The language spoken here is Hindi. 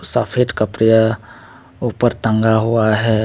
सफेद कपड़े उपर टंगा हुआ है।